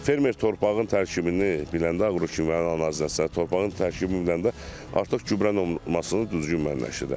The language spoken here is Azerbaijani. Fermer torpağın tərkibini biləndə, aqrokimyəvi analiz əsasən, torpağın tərkibini biləndə artıq gübrə olmasına düzgün müəyyənləşdirir.